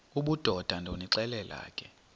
obudoda ndonixelela ke